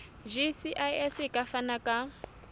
gcis e ka fana ka